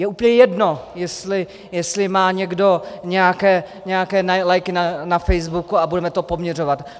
Je úplně jedno, jestli má někdo nějaké lajky na Facebooku a budeme to poměřovat.